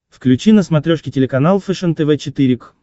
включи на смотрешке телеканал фэшен тв четыре к